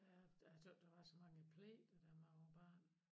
Ja jeg tøs der var så mange pligter da man var barn